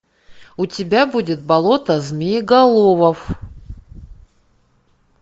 у тебя будет болото змееголовов